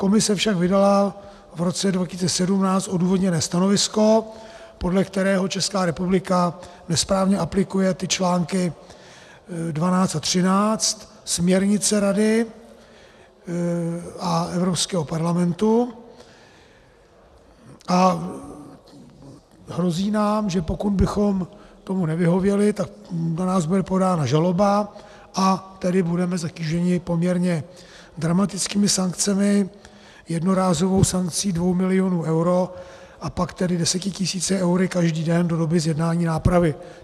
Komise však vydala v roce 2017 odůvodněné stanovisko, podle kterého Česká republika nesprávně aplikuje ty články 12 a 13 směrnice Rady a Evropského parlamentu, a hrozí nám, že pokud bychom tomu nevyhověli, tak na nás bude podána žaloba, a tedy budeme zatíženi poměrně dramatickými sankcemi; jednorázovou sankcí dvou milionů eur a pak tedy deseti tisíci eury každý den do doby zjednání nápravy.